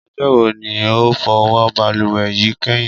Ọjọ́ wo ni o fọ balùwẹ̀ yìí kẹ́yìn?